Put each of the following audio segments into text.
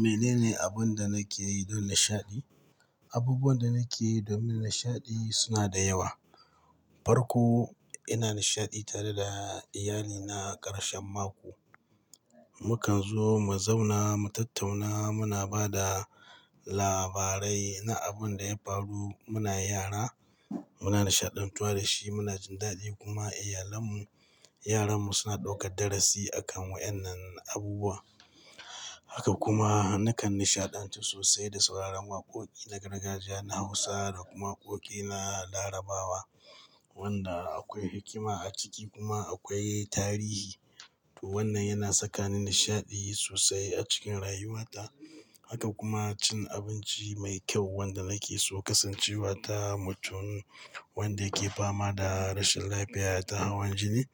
Mene ne abun da nake yi don nishaɗi? Abubuwan da nake yi domin nishaɗi suna da yawa. Farko, ina nishaɗi tare da iyalina ƙarshen mako. Mukan zo mu zauna, mu tattauna, muna ba da labarai na abun da ya faru, muna yara, muna nishaɗantuwa da shi, muna jin daɗi kuma iyalanmu, yaranmu suna ɗaukar darasi a kan waɗannan abubuwa. Haka kuma nakan nishaɗantu sosai da sauraron waƙoƙi na gargajiya na Hausa da kuma waƙoƙi na Larabawa wanda akwai hikima a ciki kuma akwai tarihi. To wannan yana sakani nishaɗi sosai a cikin rayuwata. Haka kuma cin abinci mai kyau wanda nake so kasancewa ta mutum wanda yake fama da rashin lafiya ta hawan jini.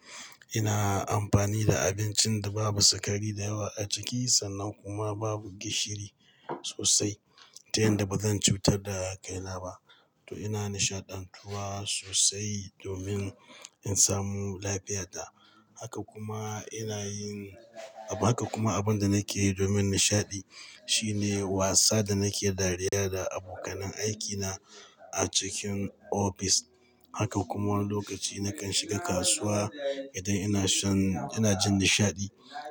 Ina amfani da abincin da babu sikari da yawa a ciki sannan kuma babu gishiri sosai ta yanda bazan cutar da kai na ba. To ina nishaɗantuwa sosai domin in samu lafiyata. Haka kuma ina yin-- abu haka kuma abun da nake yi domin nishaɗi shine wasa da nake dariya da abokanan aikina a cikin ofis. Haka kuma wani lokaci nakan shiga kasuwa idan ina shan-- ina jin nishaɗi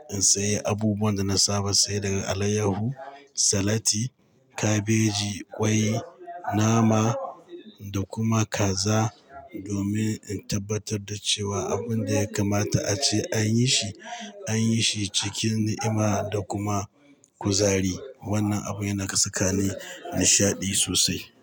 in sayi abubuwan da na saba saye daga alayyahu, salati, kabeji, ƙwai, nama da kuma kaza domin in tabbatar da cewa abun da ya kamata ace an yi shi an yi shi cikin ni'ima da kuma kuzari. Wannan abu yana ka sakani nishaɗi sosai.